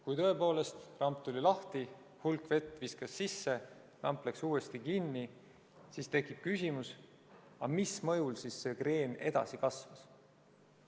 Kui tõepoolest ramp tuli lahti, hulk vett viskas sisse, ramp läks uuesti kinni, siis tekib küsimus, mille mõjul kreen edasi kasvas.